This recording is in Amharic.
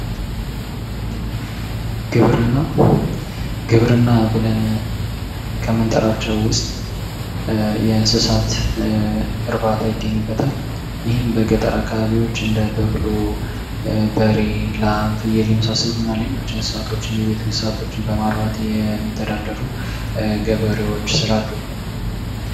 ግብርና ። ግብርና ብለን ከምንጠራቸው ውስጥ የእንስሳት እርባታ ይገኝበታል ይህም በገጠር አካባቢዎች እንደ በቅሎ በሬ ላም ፍየል የመሳሰሉ እና ሌሎች እንስሳቶችን የቤት እንስሳቶችን በማርባት የሚተዳደሩ ገበሬዎች ስላሉ ።